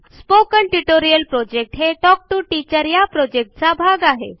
spoken tutorial project हे talk to teacher या प्रॉजेक्टचा एक भाग आहे